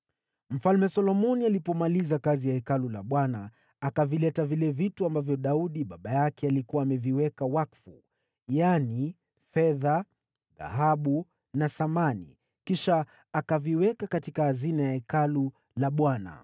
Hivyo Mfalme Solomoni alipomaliza kazi ya Hekalu la Bwana , akaviingiza ndani vile vitu ambavyo Daudi baba yake alikuwa ameviweka wakfu: yaani fedha, dhahabu na samani; kisha akaviweka katika hazina za Hekalu la Bwana .